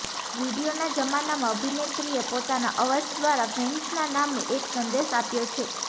વિડીયોના જમાનામાં અભિનેત્રીએ પોતાના અવાજ દ્વારા ફેન્સના નામે એક સંદેશ આપ્યો છે